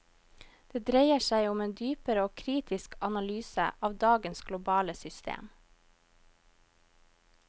Det dreier seg om en dypere og kritisk analyse av dagens globale system.